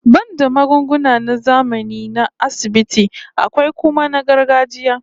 Banda magunguna na zamani na asibiti, akwai kuma na gargajiya